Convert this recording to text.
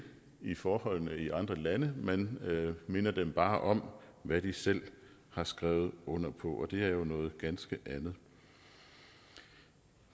i forholdene i andre lande man minder dem bare om hvad de selv har skrevet under på og det er jo noget ganske andet